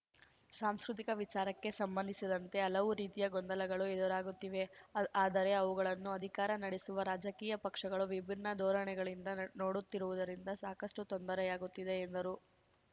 ಸಾಂಸ್ಕೃತಿಕ ವಿಚಾರಕ್ಕೆ ಸಂಬಂಧಿಸಿದಂತೆ ಹಲವು ರೀತಿಯ ಗೊಂದಲಗಳು ಎದುರಾಗುತ್ತಿವೆ ಆದ್ ಆದರೆ ಅವುಗಳನ್ನು ಅಧಿಕಾರ ನಡೆಸುವ ರಾಜಕೀಯ ಪಕ್ಷಗಳು ವಿಭಿನ್ನ ಧೋರಣೆಗಳಿಂದ ನೋಡುತ್ತಿರುವುದರಿಂದ ಸಾಕಷ್ಟುತೊಂದರೆಯಾಗುತ್ತಿದೆ ಎಂದರು